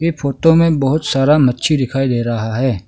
Photo में बहुत सारा मछली दिखाई दे रहा है।